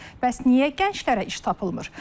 Bəs niyə gənclərə iş tapılmır?